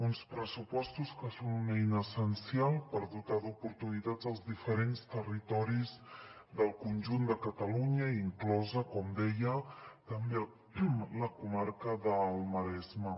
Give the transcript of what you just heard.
uns pressupostos que són una eina essencial per dotar d’oportunitats els diferents territoris del conjunt de catalunya inclosa com deia també la comarca del maresme